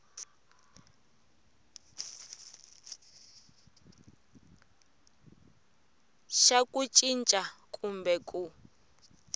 xa ku cinca kumbe ku